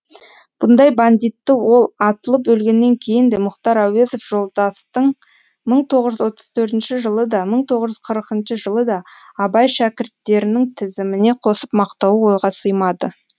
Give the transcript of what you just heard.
бұндай бандитті ол атылып өлгеннен кейін де мұхтар әуезов жолдастың мың тоғыз жүз отыз төртінші жылы да мың тоғыз жүз қырқыншы жылы да абай шәкірттерінің тізіміне қосып мақтауы ойға сыймады